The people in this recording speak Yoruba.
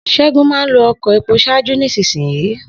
Segunmáa ń lo ọkọ epo ṣáájú nísinsìnyí